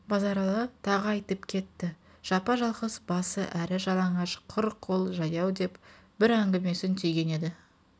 базаралы тағы айтып кетті жапа-жалғыз басы әрі жалаңаш құр қол жаяу деп бір әңгімесін түйген еді